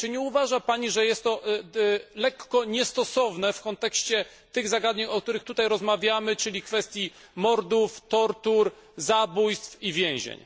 Czy nie uważa Pani, że jest to lekko niestosowne w kontekście tych zagadnień, o których tutaj rozmawiamy, czyli kwestii mordów, tortur, zabójstw i więzień?